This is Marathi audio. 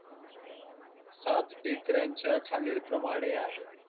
सात टेकड्यांच्या खालील प्रमाणे आहेत